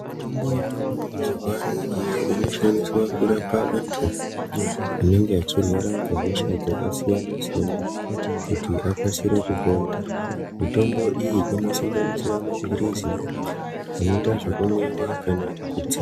Mitombo yavako mazuvaano iyo inoshandiswa kurapa antu anenge echirwara hosha dzakasiyana siyana mitombo iyi ino sanganisira mapilizi eyita zvekumwiwa kana tsenga.